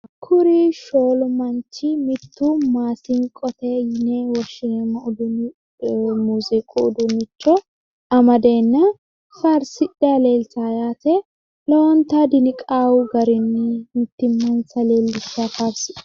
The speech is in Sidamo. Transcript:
Kuri shoolu manchi mitto maasinqote yine woshshinanni muuziiqu uduunnicho amadeenna faarsidhanni leeltawo lowontay diniqawo garinni faarsiday